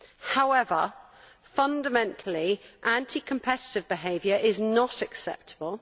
However, fundamentally anti competitive behaviour is not acceptable.